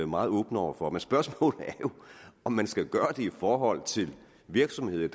meget åbne over for men spørgsmålet er jo om man skal gøre det i forhold til virksomheder